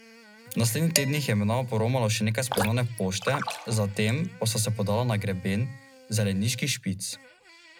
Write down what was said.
V projektu Evropska vas je lani sodelovalo devet slovenskih regij, letos je vseslovenski projekt, v katerem otroci spoznavajo druge države in kulture, ugasnil.